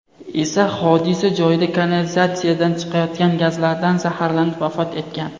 esa hodisa joyida kanalizatsiyadan chiqayotgan gazlardan zaharlanib vafot etgan.